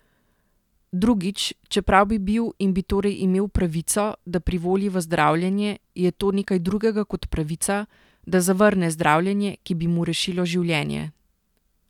Drugič, čeprav bi bil in bi torej imel pravico, da privoli v zdravljenje, je to nekaj drugega kot pravica, da zavrne zdravljenje, ki bi mu rešilo življenje.